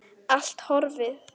Allt horfið.